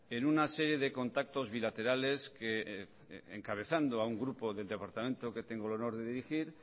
en una serie de contactos bilaterales que encabezando a un grupo del departamento que tengo el honor de dirigir